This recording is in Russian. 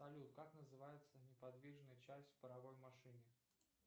салют как называется неподвижная часть в паровой машине